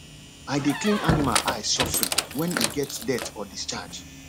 i dey clean animal eye sofri when e get dirt or discharge